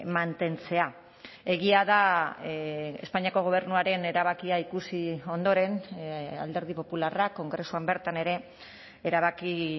mantentzea egia da espainiako gobernuaren erabakia ikusi ondoren alderdi popularrak kongresuan bertan ere erabaki